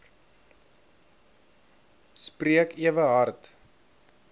spreek ewe hard